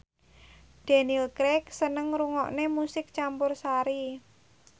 Daniel Craig seneng ngrungokne musik campursari